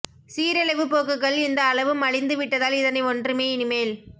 சீரழிவுப் போக்குகள் இந்த அளவு மலிந்து விட்டதால் இதனை ஒன்றுமே இனிமேல்